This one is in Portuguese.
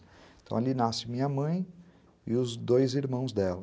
Então ali nasce minha mãe e os dois irmãos dela.